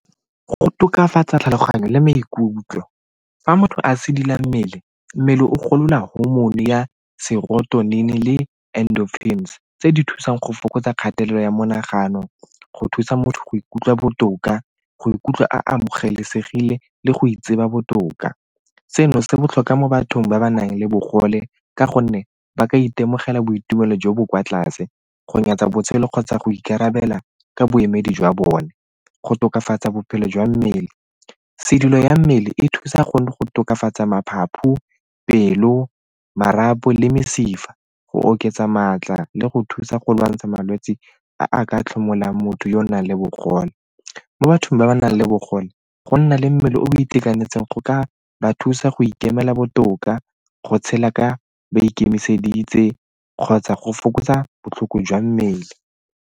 Go tokafatsa tlhaloganyo le maikutlo. Fa motho a sedila mmele, mmele o golola hormone ya le endorphins tse di thusang go fokotsa kgatelelo ya monagano go thusa motho go ikutlwa botoka, go ikutlwa a amogelesegile le go itseba botoka. Seno se botlhokwa mo bathong ba ba nang le bogole ka gonne ba ka itemogela boitumelo jo bo kwa tlase, go nyatsa botshelo kgotsa go ikarabela ka boemedi jwa bone. Go tokafatsa bophelo jwa mmele, sedilo ya mmele e thusa go tokafatsa pelo, marapo le mesifa, go oketsa maatla le go thusa go lwantsha malwetse a a ka tlhomolang motho yo o nang le bogole. Mo bathong ba ba nang le bogole, go nna le mmele o o itekanetseng go ka ba thusa go ikemela botoka, go tshela ka ba ikemiseditse kgotsa go fokotsa botlhoko jwa mmele.